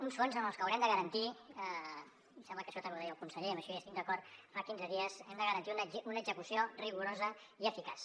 uns fons amb els que haurem de garantir em sembla que això també ho deia el conseller i en això hi estic d’acord fa quinze dies una execució rigorosa i eficaç